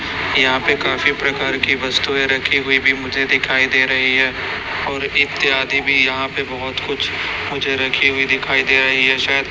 यहाॅं पे काफी प्रकार की वस्तुऍं रखी हुई भी मुझे दिखाई दे रहीं हैं और इत्यादि भी यहाॅं पे बहोत कुछ मुझे रखी हुई दिखाई दे रहीं हैं शायद --